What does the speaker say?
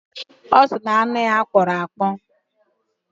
Ọ sị na anụ ya kpọrọ akpọ